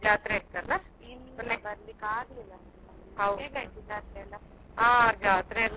ಇಲ್ಲಾ ಮೊನ್ನೆ ಬರ್ಲಿಕ್ ಆಗ್ಲಿಲ್ಲ, ಹೇಗ್ ಆಯ್ತು ಜಾತ್ರೆಯೆಲ್ಲ?